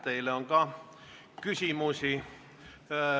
Teile on ka küsimusi.